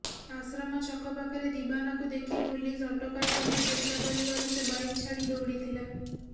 ଆଶ୍ରମ ଛକ ପାଖରେ ଦିବାନାକୁ ଦେଖି ପୁଲିସ ଅଟକାଇବାକୁ ଚେଷ୍ଟା କରିବାରୁ ସେ ବାଇକ୍ ଛାଡ଼ି ଦୌଡ଼ିଥିଲା